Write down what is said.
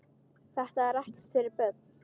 Þetta er ekkert fyrir börn!